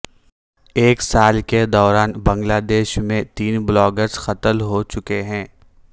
ایک سال کے دوران بنگلہ دیش میں تین بلاگرز قتل ہو چکے ہیں